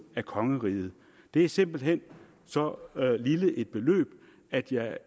af kongeriget det er simpelt hen så lille et beløb at jeg